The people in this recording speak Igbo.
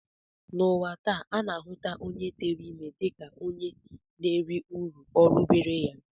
N'ụwa taa, a na-ahụta onye tere ime dịka onye na-eri uru orubeere ya